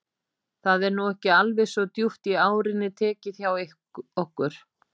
Það er nú ekki alveg svo djúpt í árinni tekið hjá okkur.